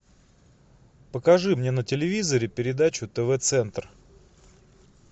покажи мне на телевизоре передачу тв центр